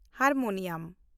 harmonium